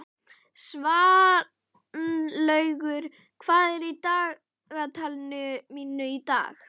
Svanlaugur, hvað er í dagatalinu mínu í dag?